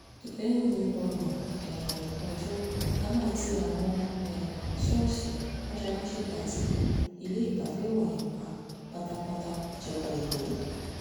lẹ́yìn ọgbọ̀n um ọjọ́ a máa ti àwọn ṣọ́ọ̀ṣì mọ́ṣáláṣí àti ilé ìgbafẹ́ wọ̀nyí pa pátápátá ìjọba èkó